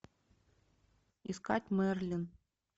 искать мерлин